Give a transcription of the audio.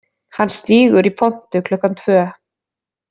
Hann stígur í pontu klukkan tvö